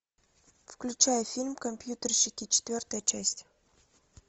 включай фильм компьютерщики четвертая часть